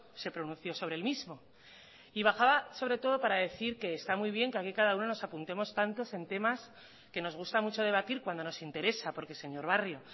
se pronunció sobre el mismo y bajaba sobre todo para decir que está muy bien que aquí cada uno nos apuntemos tantos en temas que nos gusta mucho debatir cuando nos interesa porque señor barrio